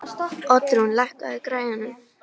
Oddrún, lækkaðu í græjunum.